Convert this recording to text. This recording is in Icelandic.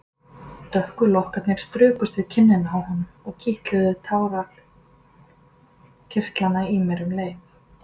Dökku lokkarnir strukust við kinnina á honum og kitluðu tárakirtlana í mér um leið.